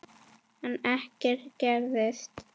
En ekkert gerist.